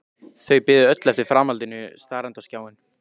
Þau biðu öll eftir framhaldinu starandi á skjáinn.